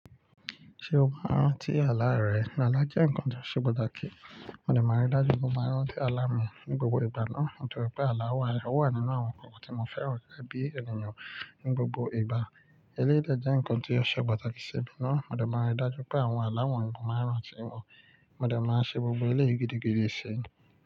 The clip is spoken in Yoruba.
Ṣe o máa ń rántí àlá rẹ? Àlá jẹ́ ǹkan tó ṣe pàtàkì. Mo dẹ̀ máa rí dájú pé mo máa ń rántí àlá mi ní gbogbo ìgbà náà, torí pé àlá wa o wà nínú àwọn ǹkan kan tí mo fẹ́ràn gégé bí ènìyàn ní gbogbo ìgbà. Eléyìí jẹ́ ǹkan tí ó ṣe pàtàkì sì bí náà. Mo dẹ̀ máa rí dájú pé àwọn àlá wọ̀nyí mo máa ń rántí wọn. Mo dẹ̀ máa ṣe gbogbo eléyìí gidigidi síyì.